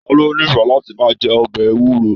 Ta lo n'ifẹ láti máa jẹ ọbẹ ewuro?